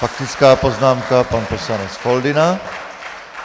Faktická poznámka, pan poslanec Foldyna.